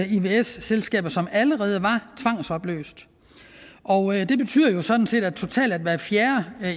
ivs selskaber som allerede var tvangsopløst og det betyder jo sådan set at hver fjerde